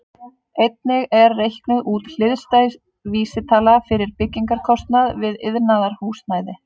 Einnig er reiknuð út hliðstæð vísitala fyrir byggingarkostnað við iðnaðarhúsnæði.